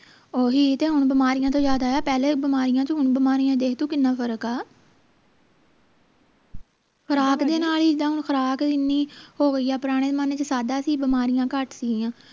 ਓਹੀ ਤੇ ਹੁਣ ਬਿਮਾਰੀਆਂ ਤੋਂ ਯਾਦ ਆਇਆ ਪਹਿਲੇ ਬਿਮਾਰੀਆਂ ਚ ਹੁਣ ਬਿਮਾਰੀਆਂ ਚ ਦੇਖ ਤੂੰ ਕਿੰਨਾ ਫਰਕ ਆ ਖੁਰਾਕ ਦੇ ਨਾਲ ਇੱਦਾਂ ਖੁਰਾਕ ਇੰਨੀ ਹੋ ਗਈ ਆ ਪੁਰਾਣੇ ਜਮਾਨੇ ਚ ਸਾਦਾ ਸੀ ਬਿਮਾਰੀਆਂ ਘੱਟ ਸੀ ਗਿਆਂ